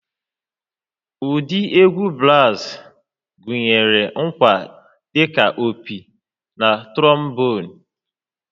Ụdị egwu brass gụnyere ngwa dị ka opi na trombon